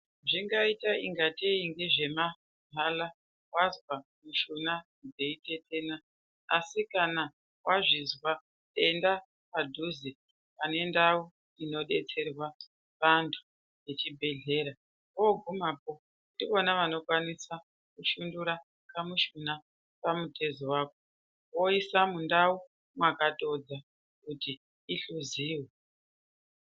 Zvingaita ingaitei ngezvemahala wanzwa mushuna dzeitetena asi kana wazvizwa enda padhuze pane ndau inodetserwa vantu yechibhehlera wogumapo ndivona vanokwanisa kushundura kamushuna pamutezo wako voisa mundau makatodza kuti ihluziwe.